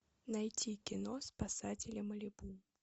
найти кино спасатели малибу